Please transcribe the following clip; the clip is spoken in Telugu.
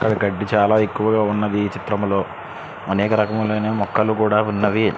ఇక్కడ గడ్డి చాల ఎక్కువగా వున్నది ఈ చిత్రం లో అనేక రకములైన మొక్కలు కూడ వున్నవి.